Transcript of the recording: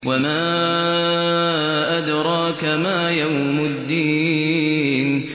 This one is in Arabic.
وَمَا أَدْرَاكَ مَا يَوْمُ الدِّينِ